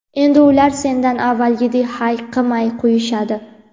endi ular sendan avvalgidek hayiqmay qo‘yishadi.